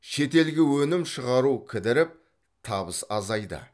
шетелге өнім шығару кідіріп табыс азайды